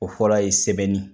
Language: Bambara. O fɔlɔ ye sɛbɛnni.